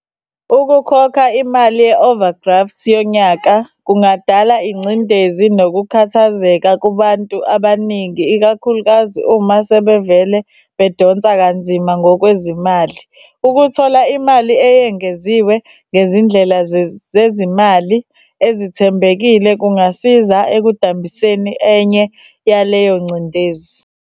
Ukukhokha imali ye-overdraft yonyaka kungadala ingcindezi nokukhathazeka kubantu abaningi ikakhulukazi uma sebevele bedonsa kanzima ngokwezimali. Ukuthola imali eyengeziwe ngezindlela zezimali ezithembekile kungasiza ekudambiseni enye yaleyo ngcindezi.